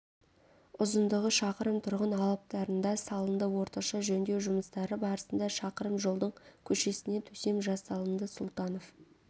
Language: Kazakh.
ұзындығы шақырым тұрғын алаптарында салынды орташа жөндеу жұмыстары барысында шақырым жолдың көшесіне төсем жасалынды сұлтанов